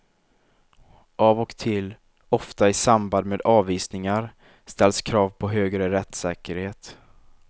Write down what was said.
Av och till, ofta i samband med avvisningar, ställs krav på högre rättssäkerhet.